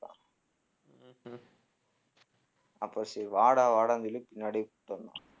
அப்போ சரி வாடா வாடான்னு சொல்லி பின்னாடியே கூட்டிட்டு வந்தான்